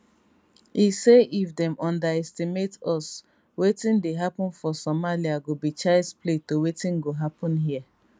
e say if dem underestimate us wetin dey happen for somalia go be childs play to wetin go happen hia